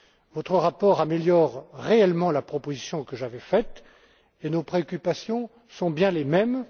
Votre rapport améliore réellement la proposition que j'avais faite, et nos préoccupations sont bien les mêmes.